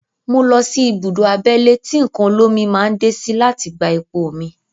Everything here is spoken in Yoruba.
Mo lọ sí ibùdó abẹ́lé tí nǹkan olómi máa ń dé sí láti gbé epo mi.